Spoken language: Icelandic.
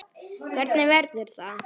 Hvernig verður það?